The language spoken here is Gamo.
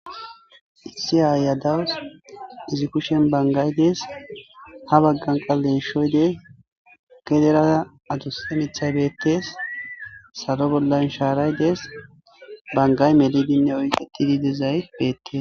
Issi aayiya dawus;izi kushiyan banggay des;ha baggan qa geeshoy des;gedera adussa miththay beeththes;salo bolla shaaray des;banggay melidinne oyqeththidi dizay beeththes.